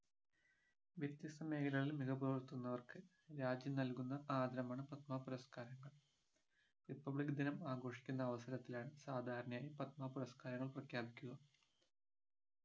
വ്യത്യസ്തമേഖലകളിൽ മികവ് പുലർത്തുന്നവർക്ക് രാജ്യം നൽകുന്ന ആദരമാണ് പത്മ പുരസ്‍കാരങ്ങൾ republic ദിനം ആഘോഷിക്കുന്ന അവസരത്തിലാണ് സാധാരണയായി പത്മ പുരസ്‍കാരങ്ങൾ പ്രഖ്യാപിക്കുക